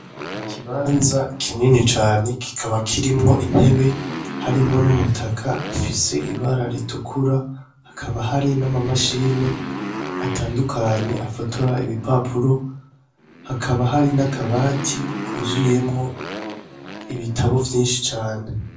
Ikibanza kinini cane kikaba kirimwo intebe harimo n'umutaka ufise ibara ritukura hakaba hari n'amamashini atandukanye afotora ibipapuro hakaba hari na kabati kuzuyemwo ibitabo vyinshi cane.